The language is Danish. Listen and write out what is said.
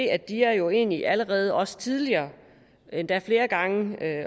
at dia jo egentlig allerede også tidligere endda flere gange